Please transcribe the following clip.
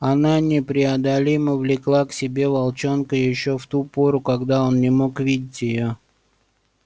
она непреодолимо влекла к себе волчонка ещё в ту пору когда он не мог видеть её